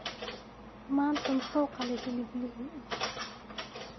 Maanta muxuu qalay hiliblihii?